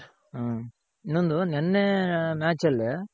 ಹ ಇನ್ನೊಂದು ನಿನ್ನೆ match ಅಲ್ಲಿ